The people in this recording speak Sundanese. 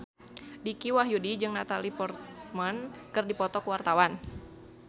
Dicky Wahyudi jeung Natalie Portman keur dipoto ku wartawan